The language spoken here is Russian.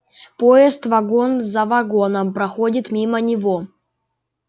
поезд вагон за вагоном проходит мимо него